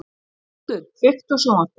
Þóroddur, kveiktu á sjónvarpinu.